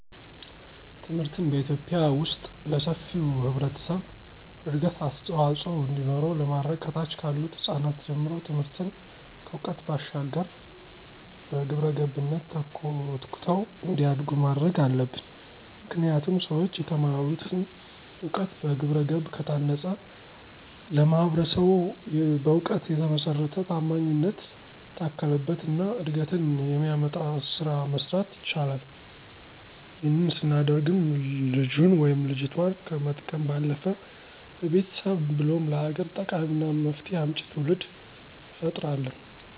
ትምህርትን በኢትዮጲያ ዉስጥ ለሰፊው ህብረተሰብ እድገት አስተዋፅዖ እንዲኖረው ለማድረግ ከታች ካሉት ህጻናት ጀምሮ ትምህርትን ከዕውቀት ባሻገር በግብረገብነት ተኮትኩተው እንዲያድጉ ማድረግ አለብን። ምክንያቱም ሠዎች የተማሩትን እውቀት በግብረገብ ከታነፀ ለማህበረሰቡ በእውቀት የተመሰረተ፣ ታማኝነት የታከለበት እና እድገትን የሚያመጣ ስራ መስራት ይችላል። ይህንን ስናደርግም ልጁን ወይም ልጆቷን ከመጥቀም ባለፈ ለቤተሰብ ብሎም ለሀገር ጠቃሚና መፍትሄ አምጪ ትውልድ እንፈጥራለን።